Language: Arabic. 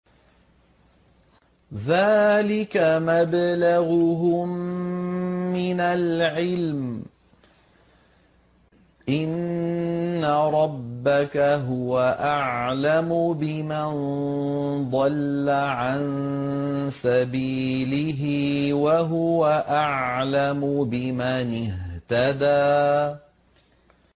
ذَٰلِكَ مَبْلَغُهُم مِّنَ الْعِلْمِ ۚ إِنَّ رَبَّكَ هُوَ أَعْلَمُ بِمَن ضَلَّ عَن سَبِيلِهِ وَهُوَ أَعْلَمُ بِمَنِ اهْتَدَىٰ